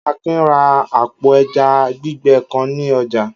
Akin ra àpò ẹja gbígbẹ kan ní ọjà.